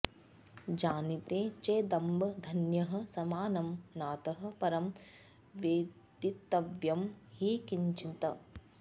जानीते चेदम्ब धन्यः समानं नातः परं वेदितव्यं हि किञ्चित्